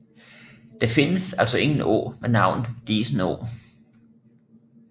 Der findes altså ingen å med navnet Disenå